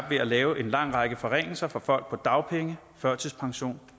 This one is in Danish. ved at lave en lang række forringelser for folk på dagpenge førtidspension